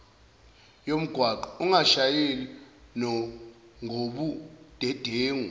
yomgwaqo ungashayeli ngobudedengu